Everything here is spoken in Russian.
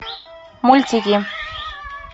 мультики